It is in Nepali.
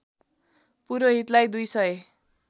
पुरोहितलाई दुई सय